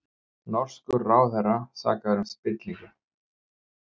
Norskur ráðherra sakaður um spillingu